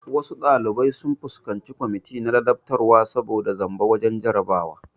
Wasu ɗalibai sun fuskanci kwamiti na ladabtarwa saboda zamba wajen jarabawa